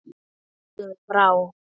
Segðu frá.